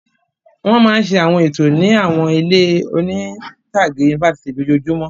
Wọ́n máa ń ṣe àwọn ètò ní àwọn ilé oní-ìtàgé yunifásitì lójoojúmọ́.